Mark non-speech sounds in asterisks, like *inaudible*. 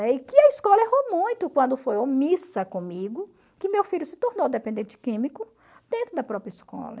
*unintelligible* E que a escola errou muito quando foi omissa comigo, que meu filho se tornou dependente químico dentro da própria escola.